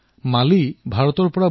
প্ৰধানমন্ত্ৰীঃ হয় নে আমোদজনক